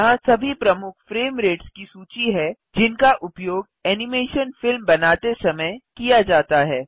यहाँ सभी प्रमुख फ्रेम रेट्स की सूची है जिनका उपयोग एनिमेशन फिल्म बनाते समय किया जाता है